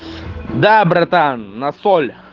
да братан насоль